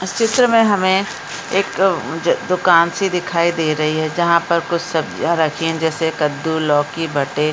चित्र में हमें एक दुकान सी दिखाई दे रही है जहाँ पर कुछ सब्जियाँ रखी है जैसे कद्दू लौकी बटे --